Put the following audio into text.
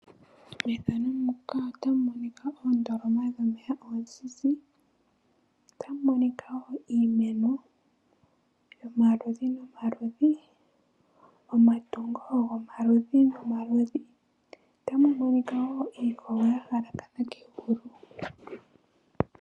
Methano muka otamu monika oondoloma dhomeya oonzinzi otamu monikawo iimeno yomaludhi nomaludhi omatungo gomaludhi nomaludhi otamu monikawo iikogo ya halakana kegulu.